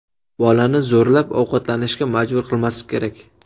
Bolani zo‘rlab ovqatlanishga majbur qilmaslik kerak.